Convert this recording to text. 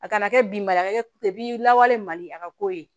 A kana kɛ bi mara kɛbi lawale mali a ka ko ye